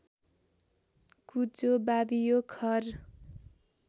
कुचो वावियो खर